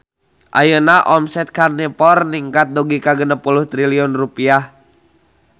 Ayeuna omset Karnivor ningkat dugi ka 60 triliun rupiah